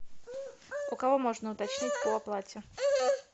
у кого можно уточнить по оплате